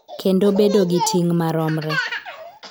Kendo bedo gi ting� maromre.